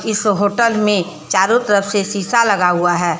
इस होटल में चारों तरफ से शीशा लगा हुआ है।